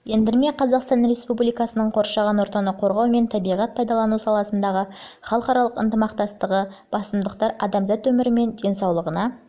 ендірме қазақстан республикасының қоршаған ортаны қорғау мен табиғат пайдалану саласындағы халықаралық ынтымақтастығындағы басымдықтар адамзаттың өмірі мен денсаулығына